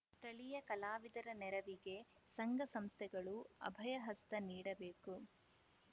ಸ್ಥಳೀಯ ಕಲಾವಿದರ ನೆರವಿಗೆ ಸಂಘಸಂಸ್ಥೆಗಳು ಅಭಯ ಹಸ್ತ ನೀಡಬೇಕು